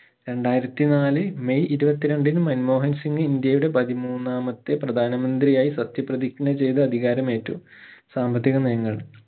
രണ്ടായിരത്തി നാല് മെയ് ഇരുപത്തി രണ്ടിന് മൻമോഹൻ സിംഗ് ഇന്ത്യയുടെ പതിമൂന്നാമത്തെ പ്രധാനമന്ത്രിയായി സത്യ പ്രതിജ്ഞ ചെയ്തു അധികാരമേറ്റു സാമ്പത്തിക നയങ്ങൾ